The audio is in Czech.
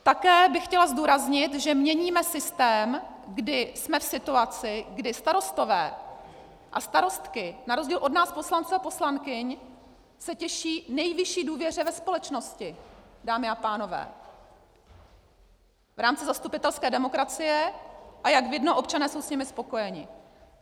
Také bych chtěla zdůraznit, že měníme systém, kdy jsme v situaci, kdy starostové a starostky na rozdíl od nás, poslanců a poslankyň, se těší nejvyšší důvěře ve společnosti, dámy a pánové, v rámci zastupitelské demokracie, a jak vidno, občané jsou s nimi spokojeni.